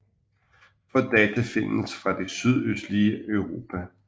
Få data findes fra det sydøstlige Europa